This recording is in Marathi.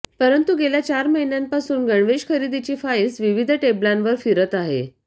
परंतु गेल्या चार महिन्यांपासून गणवेश खरेदीची फाइल्स विविध टेबलांवर फिरत आहे